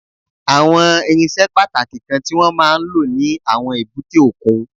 Àwọn irinṣẹ́ pàtàkì kan tí wọ́n máa ń lò ní àwọn èbúté òkun